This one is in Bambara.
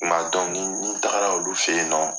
Tuma dɔ ni tagara olu fɛ yen nɔ.